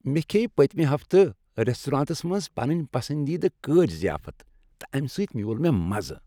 مےٚ کھیٚیہ پٔتۍمہِ ہفتہٕ ریستورانس منٛز پنٕنۍ پسندیدٕ کٲج ضیافت، تہٕ امہ سۭتۍ میول مےٚ مزٕ۔